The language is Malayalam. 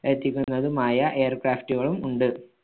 ർത്തിക്കുന്നതുമായ air craft കളും ഉണ്ട്.